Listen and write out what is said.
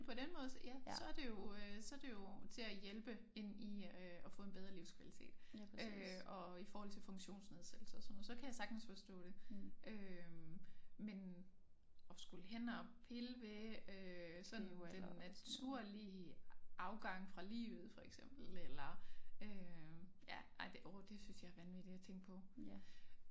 På den måde ja så det jo øh så det jo til at hjælpe ind i øh at få en bedre livskvalitet øh og i forhold til funktionsnedsættelser og sådan noget så kan jeg sagtens forstå det øh men at skulle hen og pille ved øh sådan den naturlige afgang fra livet for eksempel eller øh ja ej det åh det synes jeg er vanvittigt at tænke på